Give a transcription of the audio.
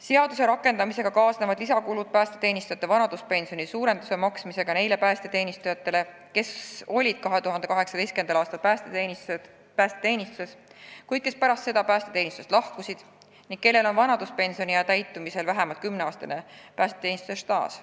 Seaduse rakendamisega kaasnevad lisakulud suurema vanaduspensioni maksmisega nendele päästeteenistujatele, kes olid 2018. aastal päästeteenistuses ja pärast seda lahkusid sealt, ent kellel on vanaduspensioniea täitumisel vähemalt 10 aasta pikkune päästeteenistuse staaž.